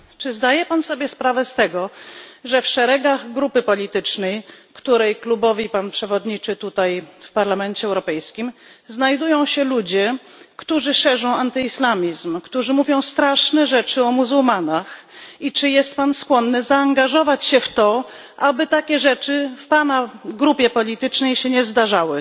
Czy zdaje Pan sobie sprawę z tego, że w szeregach grupy politycznej, której klubowi Pan przewodniczy tutaj w Parlamencie Europejskim, znajdują się ludzie, którzy szerzą antyislamizm, którzy mówią straszne rzeczy o muzułmanach, i czy jest Pan skłonny zaangażować się w to, aby takie rzeczy w Pana w grupie politycznej się nie zdarzały?